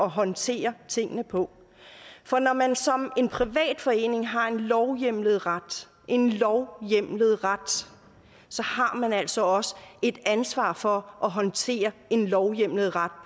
håndtere tingene på for når man som en privat forening har en lovhjemlet ret en lovhjemlet ret så har man altså også et ansvar for at håndtere en lovhjemlet ret